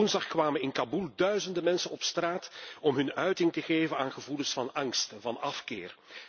Vorige week woensdag kwamen in Kaboel duizenden mensen op straat om uiting te geven aan gevoelens van angst en afkeer.